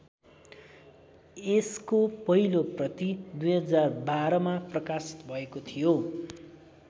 यसको पहिलो प्रति २०१२ मा प्रकाशित भएको थियो।